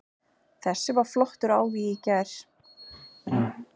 Þessi var flottur á því í gær.